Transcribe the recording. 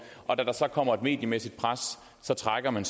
og da der så kommer et mediemæssigt pres trækker man